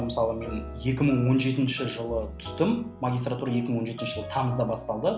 мысалы мен екі мың он жетінші жылы түстім магистратура екі мың он жетінші жылы тамызда басталды